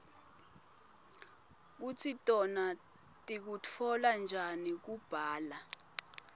kutsi tona tikutfola njani kubla